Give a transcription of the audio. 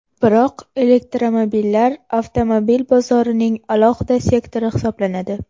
Biroq, elektromobillar avtomobil bozorining alohida sektori hisoblanadi.